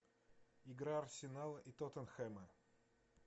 игра арсенала и тоттенхэма